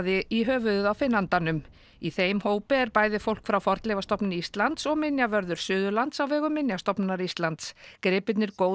í höfuðið á finnandanum í þeim hópi er bæði fólk frá Fornleifastofnun Íslands og minjavörður Suðurlands á vegum Minjastofnunar Íslands gripirnir góðu